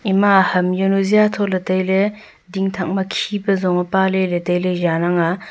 ema ham jawnu jatholey tailey dingthak ma khipa zong e paleley tailey jang ang a.